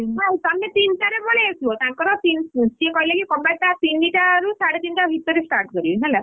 ନାଇ ତମେ ତିନିଟାରେ ପଳେଇ ଆସିବ, ତାଙ୍କର ସେ କହିଲେ କି କବାଡିଟା ତିନିଟାରୁ ସାଢେ ତିନିଟା ଭିତରେ start କରିବେ ହେଲା।